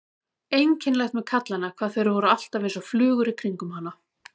Einkennilegt með kallana hvað þeir voru alltaf einsog flugur í kringum hana.